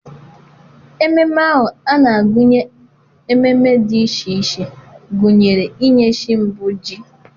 ememe ahụ na-agụnye ememe dị iche iche, gụnyere inye chi mbụ ji.